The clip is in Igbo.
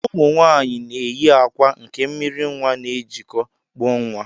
Ụmụnwaanyị na-eyi akwa nke mmiri nnwa na-ejikọ, kpụọ nnwa